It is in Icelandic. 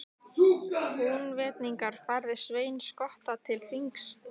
Húnvetningar færðu Svein skotta til þings.